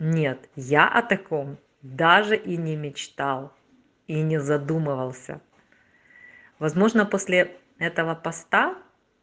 нет я о таком даже и не мечтал и не задумывался возможно после этого поста